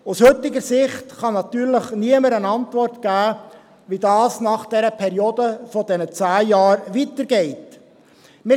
Aus heutiger Sicht kann natürlich niemand eine Antwort auf die Frage geben, wie es nach der Periode von zehn Jahren weitergehen wird.